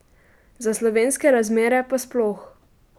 Za slovenske razmere pa sploh.